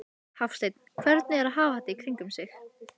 Hafsteinn: Hvernig er að hafa þetta í kringum sig?